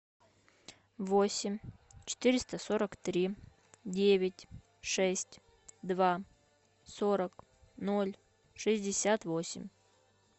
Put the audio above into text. восемь четыреста сорок три девять шесть два сорок ноль шестьдесят восемь